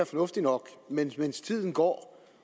fornuftigt nok men mens tiden går